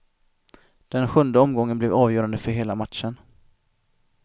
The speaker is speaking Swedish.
Den sjunde omgången blev avgörande för hela matchen.